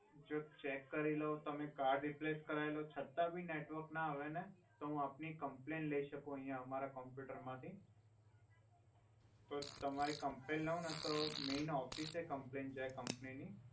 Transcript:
જો ચેક કરી લો તમે કર્ડ રિપ્લેશ લરાઇ લો છ્તા ભી નેટવોર્ક ના આવે ને તો હુ આપની કમ્પ્લલઈન લઈ સકુ મારા કોમ્પ્યુટર માથી તો તમારી કમ્પ્લલઈન લવ ને તો મૈન ઓફિસે કમ્પ્લલઈન જાઇ કોમ્પનીની